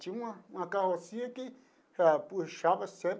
Tinha uma uma carrocinha que puxava sempre.